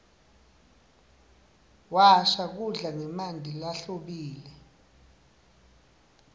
washa kudla ngemanti lahlobile